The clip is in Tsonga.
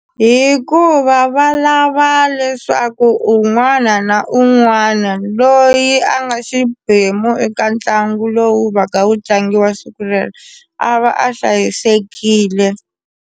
Hikuva va lava leswaku un'wana na un'wana loyi a nga xiphemu eka ntlangu lowu va ka wu tlangiwa siku rero a va a hlayisekile.